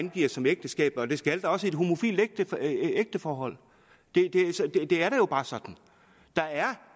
angiver som ægteskabet det skal der også i et homofilt ægteforhold det er jo bare sådan der er